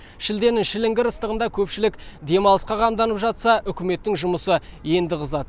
шілденің шіліңгір ыстығында көпшілік демалысқа қамданып жатса үкіметтің жұмысы енді қызады